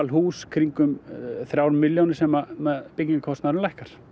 hús í kringum þrjár milljónir sem byggingarkostnaðurinn lækkar